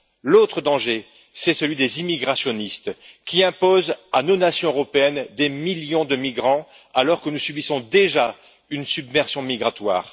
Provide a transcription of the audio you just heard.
L'autre danger, c'est celui des immigrationnistes qui imposent à nos nations européennes des millions de migrants, alors que nous subissons déjà une submersion migratoire.